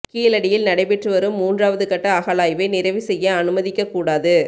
கீழடியில் நடைபெற்று வரும் மூன்றாவது கட்ட அகழாய்வை நிறைவு செய்ய அனுமதிக்கக்கூடாது